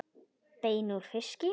Bein úr fiski